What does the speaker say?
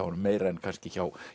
honum meira en kannski hjá